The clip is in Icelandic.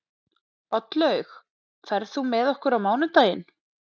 Oddlaug, ferð þú með okkur á mánudaginn?